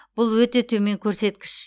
бұл өте төмен көрсеткіш